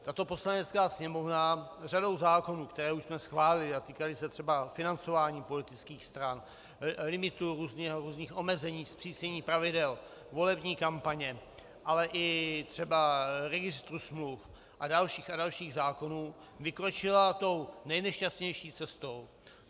Tato Poslanecká sněmovna řadou zákonů, které už jsme schválili, a týkaly se třeba financování politických stran, limitů, různých omezení, zpřísnění pravidel volební kampaně, ale i třeba registru smluv a dalších a dalších zákonů, vykročila tou nejnešťastnější cestou.